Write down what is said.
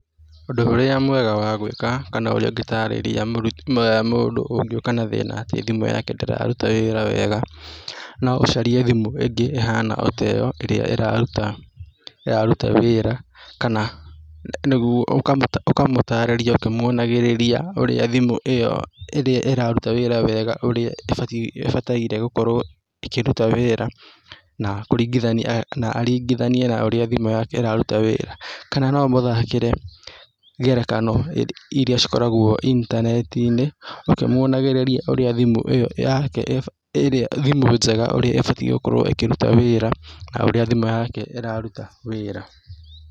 Ũndũ ũrĩa mwega wa gũĩka kana ũrĩa ũngĩtarĩria mũru mũndũ ũngĩũka na thĩna atĩ thimũ yake ndĩraruta wĩra wega, no ũcarie thimũ ĩngĩ ĩhana ota ĩyo ĩrĩa ĩraruta ĩraruta wĩra, kana nĩguo ũkamũ ukamũtarĩria ũkĩmuonagĩrĩria ũrĩa thimũ ĩyo ĩrĩa ĩraruta wĩra wega ũrĩa ĩbatiĩ ĩbataire gũkorwo ĩkĩruta wĩra na kũringithania na aringithanie na ũrĩa thimũ yake ĩraruta wĩra, kana no ũmũthakĩre ngerekano iria cikoragwo intaneti-inĩ, ũkĩmuonagĩrĩria ũrĩa thimũ ĩyo yake iba irĩa thimũ njega urĩa ĩbatiĩ gũkorwo ĩkĩruta wĩra na ũrĩa thimũ yake ĩraruta wĩra.